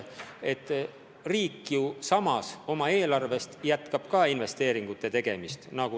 Riik ju jätkab ka oma eelarvest investeeringute tegemist.